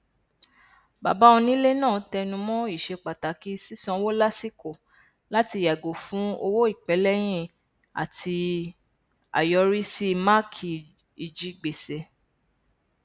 bàbá onílé náà tẹnumọ ìṣepàtàkì sísanwó lásìkò láti yàgò fún owó ìpẹlẹyìn àti àyọrísí máàkì ijigbèsè